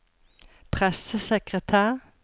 pressesekretær